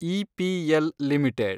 EPL limited